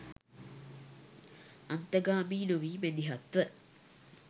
අන්තගාමී නොවී මැදිහත්ව